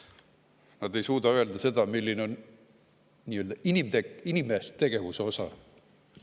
Nad ei suuda öelda seda, milline on nii-öelda inimtegevuse osa.